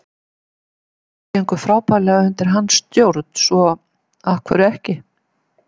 Okkur gekk frábærlega undir hans stjórn svo af hverju ekki?